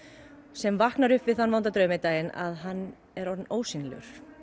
sem vaknar upp við þann vonda draum einn daginn að hann er orðinn ósýnilegur